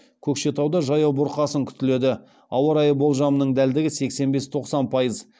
көкшетауда жаяу бұрқасын күтіледі ауа райы болжамының дәлдігі сексен бес тоқсан пайыз